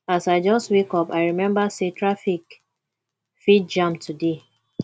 as i just wake up i remember sey traffic fit jam today